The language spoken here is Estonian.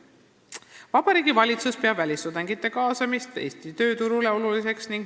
Vabariigi Valitsus peab välistudengite kaasamist Eesti tööturule oluliseks.